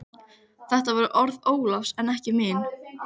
Þetta voru orð Ólafs en ekki mín.